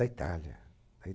A it, a Itália